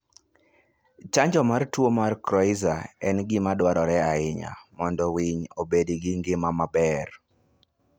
Chanjo mar tuo mar coryza en gima dwarore ahinya mondo winy obed gi ngima maber.